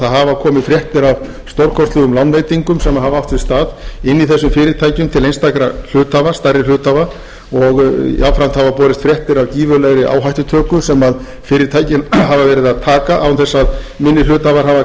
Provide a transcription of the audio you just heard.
það hafa komið fréttir af stórkostlegum lánveitingum sem hafa átt sér stað inni í þessum fyrirtækjum til einstakra stærri hluthafa og jafnframt hafa borist fréttir af gífurlegri áhættutöku sem fyrirtækin hafa verið að taka án þess að minni hluthafar hafi kannski getað gert sér grein